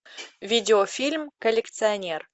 видео фильм коллекционер